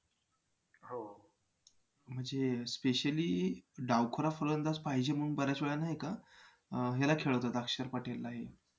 म्हणजे specially डावखुरा फलंदाज पाहिजे म्हणून बऱ्याच वेळा नाही का अं ह्याला खेळवतात अक्षर पटेलला हे